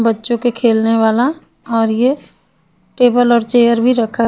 बच्चो के खेलने वाला और ये टेबल और चेयर भी रखा है।